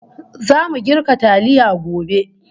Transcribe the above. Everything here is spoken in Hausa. Zamu girka taliya gobe